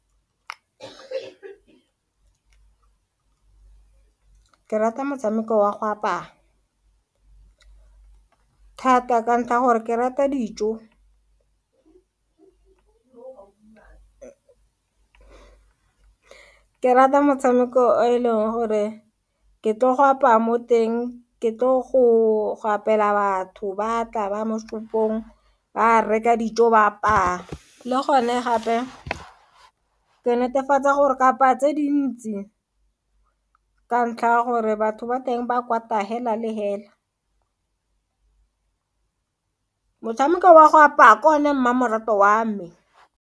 Ke rata motshameko wa go apaya thata ka ntlha ya gore ke rata dijo ke rata motshameko e leng gore ke tlo go apaya mo teng ke tlo go apela batho ba tla ba mo setopong ba reka dijo ba apaya le gone gape ke netefatsa gore kapa tse dintsi ka ntlha ya gore batho ba teng ba kwata hela le hela motshameko wa go apaya ke o ne mmamoratwa wa me.